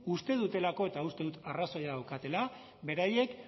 uste dutelako eta uste dut arrazoia daukatela beraiek